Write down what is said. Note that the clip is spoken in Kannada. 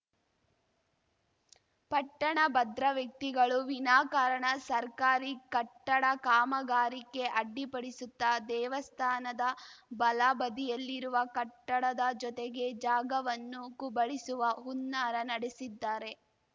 ಪಟ್ಟಣಭದ್ರವ್ಯಕ್ತಿಗಳು ವಿನಾಕಾರಣ ಸರ್ಕಾರಿ ಕಟ್ಟಡ ಕಾಮಗಾರಿಗೆ ಅಡ್ಡಿಪಡಿಸುತ್ತ ದೇವಸ್ಥಾನದ ಬಲ ಬದಿಯಲ್ಲಿರುವ ಕಟ್ಟಡದ ಜೊತೆಗೆ ಜಾಗವನ್ನು ಕುಬಳಿಸುವ ಹುನ್ನಾರ ನಡೆಸಿದ್ದಾರೆ